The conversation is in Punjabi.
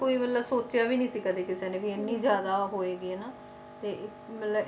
ਕੋਈ ਮਤਲਬ ਸੋਚਿਆ ਵੀ ਨੀ ਸੀਗਾ ਕਦੇ ਕਿਸੇ ਨੇ ਵੀ ਇੰਨੀ ਜ਼ਿਆਦਾ ਹੋਏਗੀ ਹਨਾ, ਤੇ ਮਤਲਬ